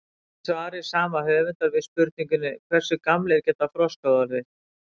Í svari sama höfundar við spurningunni Hversu gamlir geta froskar orðið?